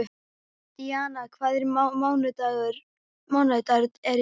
Dynja, hvaða mánaðardagur er í dag?